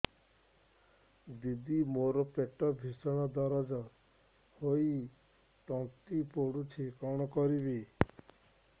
ଦିଦି ମୋର ପେଟ ଭୀଷଣ ଦରଜ ହୋଇ ତଣ୍ଟି ପୋଡୁଛି କଣ କରିବି